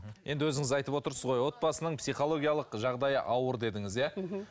енді өзіңіз айтып отырсыз ғой отбасының психологиялық жағдайы ауыр дедіңіз иә мхм